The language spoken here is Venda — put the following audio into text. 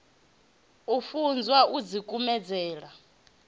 u funzwa u ḓi kumedzela